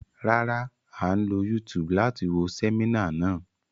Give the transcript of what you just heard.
Rárá, a ń lo YouTube láti wo sẹminá náà.